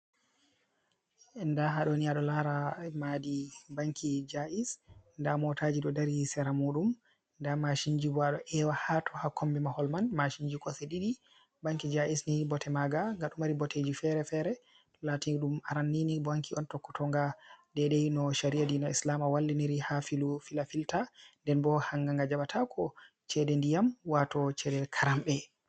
Ndaa haaɗo ni a ɗo laara maadi banki Jais ndaa mootaji ɗo dari sera muuɗum, ndaa masinji bo ,ɗo ewa haato. Haa kombi mahol man, masinji kosɗe ɗiɗi. Banki Jais ni bote maaga nga ɗo mari boteji fere-fere ,latin ɗum aranni banki on tokkotonga deydey no cari’a diina islama walliniri haa filafilta. Nden bo hanga nga jabataako ceede ndiyam wato ceede karamɗe.